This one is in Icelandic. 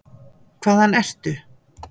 Hvaðan ertu?